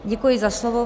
Děkuji za slovo.